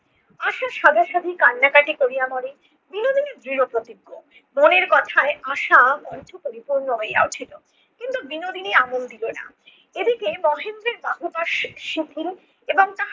আশা সাধাসাধি কান্নাকাটি কোরিয়া মরে বিনোদিনী দৃঢ় প্রতিজ্ঞ। মনের কথায় আশা পরিপূর্ণ হইয়া উঠিল। কিন্তু বিনোদিনী আমল দিলো না। এদিকে মহেন্দ্রের বাহুপাশ শি~ শিথিল এবং তাহা